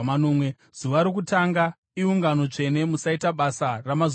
Zuva rokutanga iungano tsvene; musaita basa ramazuva ose.